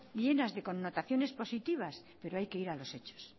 llenas de connotaciones positivas pero hay que ir a los hechos